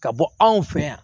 Ka bɔ anw fɛ yan